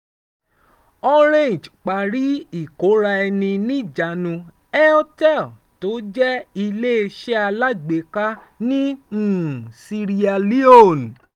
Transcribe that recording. orange parí ìkóra-ẹni-níjàánu airtel tó jẹ́ iléeṣẹ́ alágbèéká ní um sierra leone